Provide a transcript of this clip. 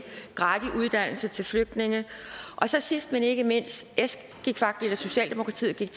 gratis uddannelse til flygtninge og så sidst men ikke mindst socialdemokratiet gik